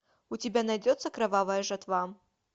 у тебя найдется кровавая жатва